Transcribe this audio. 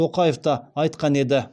тоқаев та айтқан еді